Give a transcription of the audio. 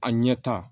A ɲɛ ta